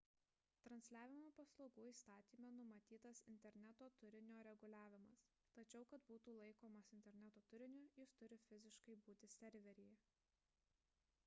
transliavimo paslaugų įstatyme numatytas interneto turinio reguliavimas tačiau kad būtų laikomas interneto turiniu jis turi fiziškai būti serveryje